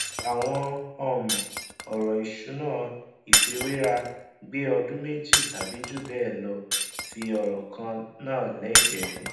àwọn um ọrọ ìṣúná ìfiwéra gbé ọdún méjì tàbí jù bẹẹ lọ ti ọrọ kan náà lẹgbẹẹ